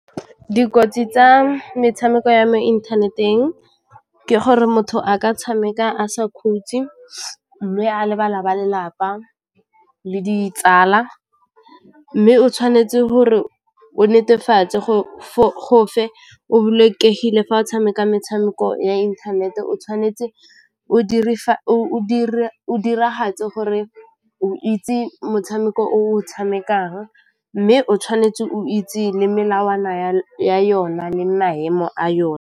Dikotsi tsa metshameko ya mo inthaneteng ke gore motho a ka tshameka a sa khutsi mme a lebala ba lelapa le ditsala, mme o tshwanetse gore o netefatse go o bolokegile fa o tshameka metshameko ya inthanete o tshwanetse o diragatse gore o itse motshameko o tshamekang mme o tshwanetse o itse le melawana ya yona le maemo a yona.